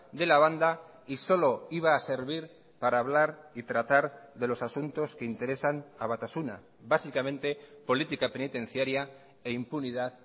de la banda y solo iba a servir para hablar y tratar de los asuntos que interesan a batasuna básicamente política penitenciaria e impunidad